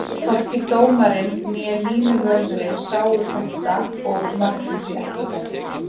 Hvorki dómarinn né línuvörðurinn sáu þetta og markið því ekki dæmt.